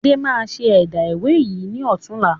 Adé máa ṣe ẹ̀dá ìwé yìí ni ọ̀tunla.